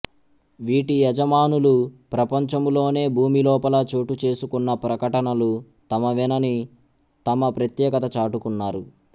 వీటి యజమానులు ప్రపంచములోనే భూమిలోపల చోటుచేసుకున్న ప్రకటనలు తమవేనని తమ ప్రత్యేకత చాటుకున్నారు